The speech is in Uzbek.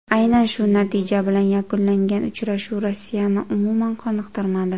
Aynan shu natija bilan yakunlangan uchrashuv Rossiyani umuman qoniqtirmadi.